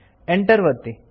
Enter ಒತ್ತಿ